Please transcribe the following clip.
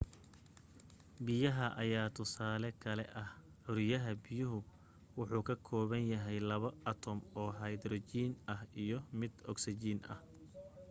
biyaha ayaa tusaale kale ah curiyaha biyuhu wuxu ka kooban yahay laba atom oo haydarajiin ah iy mid ogsajiin ah